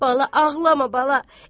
Bala, ağlama, bala.